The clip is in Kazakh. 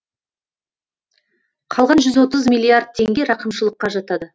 қалған жүз отыз миллиард теңге рақымшылыққа жатады